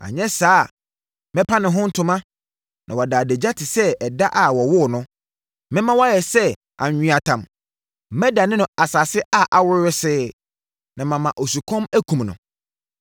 Anyɛ saa a mɛpa ne ho ntoma na wada adagya te sɛ ɛda a wɔwoo no; mɛma wayɛ sɛ anweatam, mɛdane no asase a awo wesee na mama osukɔm akum no.